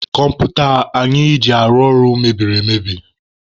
Kọmputa anyị ji arụ ọrụ mebiri emebi.